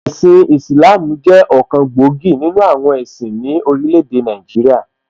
Ẹ̀sin Ìsìlááámù jẹ́ ọ̀kan gbòógì nìnu àwọn ẹ̀sìn ní orílẹ̀ èdè Nàìjíríà